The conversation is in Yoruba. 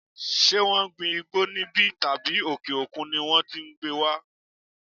Ṣé wọn ń gbin igbó níbí tàbí òkè òkun ni wón ti ko wá?